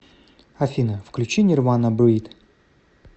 афина включи нирвана брид